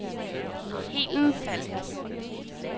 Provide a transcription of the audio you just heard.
Helen Falk